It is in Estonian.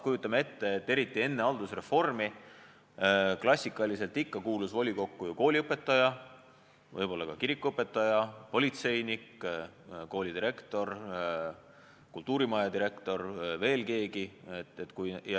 Eriti enne haldusreformi kuulus volikokku klassikaliselt ikka ju kooliõpetaja, võib-olla ka kirikuõpetaja, politseinik, koolidirektor, kultuurimaja direktor, veel keegi.